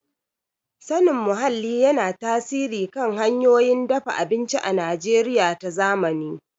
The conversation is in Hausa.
Sanin muhalli yana tasiri kan hanyoyin dafa abinci a Najeriya ta zamani.